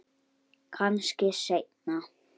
Kannski seinna.